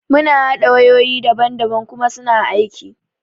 Mun haɗa wayoyi daban daban kuma suna aiki.